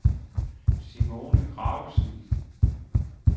Simone Gravesen